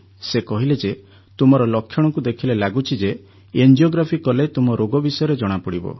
ସେ କହିଲେ ଯେ ତୁମର ଲକ୍ଷଣକୁ ଦେଖିଲେ ଲାଗୁଛି ଯେ ଏଂଜିୟୋଗ୍ରାଫି କଲେ ତୁମ ରୋଗ ବିଷୟରେ ଜଣାପଡ଼ିବ